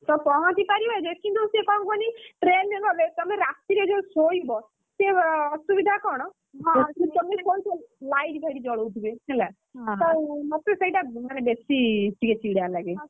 ତ ପହଞ୍ଚି ପାରିବା ଯେ କିନ୍ତୁ ସେ କଣ କୁହନି train ରେ ଗଲେ ତମେ ରାତିରେ ଯୋଉ ଶୋଇବ, ଅସୁବିଧା କଣ ତମେ, ସେ ଶୋଇଥିବ, light ଫାଇଟି ଜଳଉଥିବେ ହେଲା। ତ ମତେ ସେଇଟା ମାନେ ବେଶି ଟିକେ ଚିଡା ଲାଗେ।